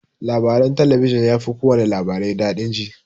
Labaran talabijin yafi kowana labarai daɗi jin.